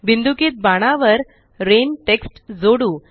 बिन्दुकित बाणावर वर रेन टेक्स्ट जोडू